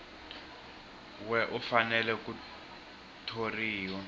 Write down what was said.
we u fanele ku thoriwa